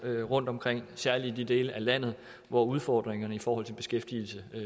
rundtomkring i særlig i de dele af landet hvor udfordringerne i forhold til beskæftigelsen i